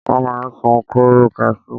Wọ́n máa ń sun kóóró kasú.